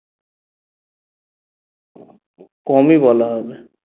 কমই বলা হবে